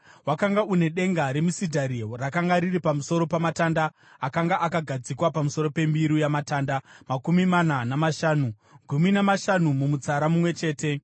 Wakanga une denga remisidhari rakanga riri pamusoro pamatanda akanga akagadzikwa pamusoro pembiru yamatanda makumi mana namashanu, gumi namashanu mumutsara mumwe chete.